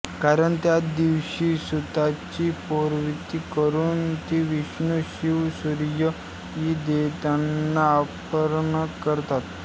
कारण त्या दिवशी सुताची पोवती करून ती विष्णू शिव सूर्य इ देवतांना अर्पण करतात